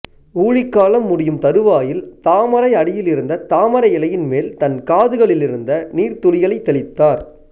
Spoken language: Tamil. ஊழிக்காலம் முடியும் தறுவாயில் தாமரை அடியில் இருந்த தாமரை இலையின் மேல் தன் காதுகளிலிருந்த நீர்த்துளிகளைத் தெளித்தார்